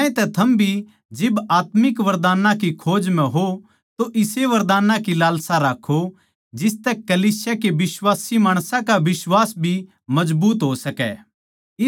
ज्यांतै थम भी जिब आत्मिक वरदानां की खोज म्ह हो तो इसी वरदानां की लालसा राक्खों जिसतै कलीसिया के बिश्वासी माणसां का बिश्वास भी मजबूत हो सकै